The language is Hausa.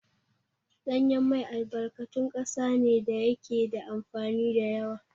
Ɗanyen mai albarkatun ƙasa ne da yake da amfani da yawa.